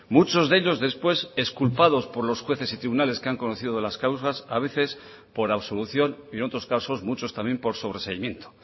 muchos de ellos después exculpados por los jueces y tribunales que han conocido de las causas a veces por absolución y en otros casos muchos también por sobreseimiento